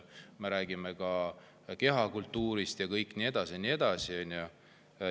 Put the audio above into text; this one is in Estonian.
Me räägime ka kehakultuurist ja nii edasi.